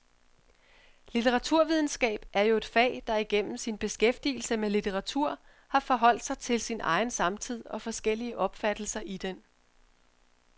Litteraturvidenskab er jo et fag, der igennem sin beskæftigelse med litteratur har forholdt sig til sin egen samtid og forskellige opfattelser i den.